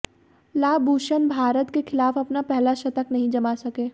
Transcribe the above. Labuschagne Bharat के खिलाफ अपना पहला शतक नहीं जमा सके